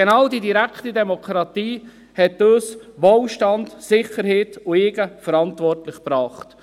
Genau die direkte Demokratie hat uns Wohlstand, Sicherheit und Eigenverantwortung gebracht.